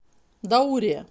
даурия